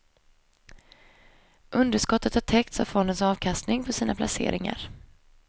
Underskottet har täckts av fondens avkastning på sina placeringar.